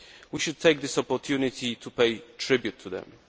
We should take this opportunity to pay tribute to them.